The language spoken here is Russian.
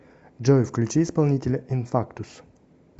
джой включи исполнителя инфактус